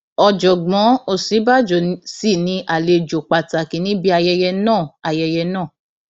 ọjọgbọn òsínbàjò sì ni àlejò pàtàkì níbi ayẹyẹ náà ayẹyẹ náà